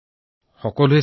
তেওঁলোকলৈ আপোনাৰ বাৰ্তা কি